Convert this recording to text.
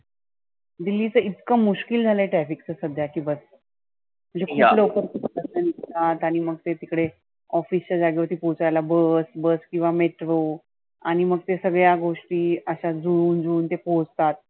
दिल्लीचं इतक मुश्किल झालं त्या ठिकाणी सध्या की बस. म्हणजे किती लोक आणि मग ते तिकडे office च्या जागेवरती पोहोचायला Bus, Bus किंवा metro आणि मग त्या सगळ्या गोष्टी आशा जुळवून जुळवुन ते पोहचतात.